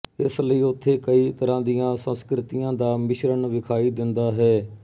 ਇਸਲਈ ਉੱਥੇ ਕਈ ਤਰ੍ਹਾਂ ਦੀਆਂ ਸੰਸਕ੍ਰਿਤੀਆਂ ਦਾ ਮਿਸ਼ਰਣ ਵਿਖਾਈ ਦਿੰਦਾ ਹੈ